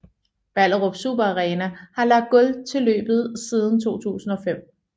Ballerup Super Arena har lagt gulv til løbet siden 2005